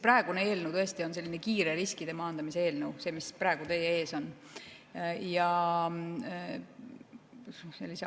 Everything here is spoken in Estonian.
Praegune eelnõu on kiire riskide maandamise eelnõu, see, mis praegu teie ees on.